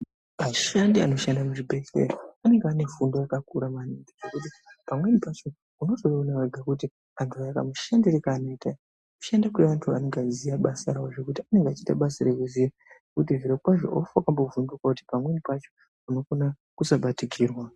Ashandi anoshanda muzvibhedhleya anenge ane fundo yakakura maningi ngekuti pamweni pacho, unotoiona wega kuti vantu aya kamushandire kaanoita, kushanda kwevantu anenge ayiziya basa rawo, zvekuti anenge achiita basa rekuziya kuti zvirokwazvo haufi wakambovhunduka kuti pamweni pacho unokona kusabatikirwa.